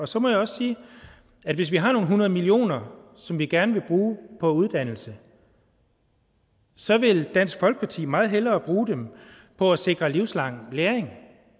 så må jeg også sige at hvis vi har nogle hundrede millioner som vi gerne vil bruge på uddannelse så vil dansk folkeparti meget hellere bruge dem på at sikre livslang læring